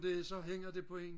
så hænger det på en